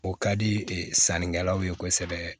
O ka di e sannikɛlaw ye kosɛbɛ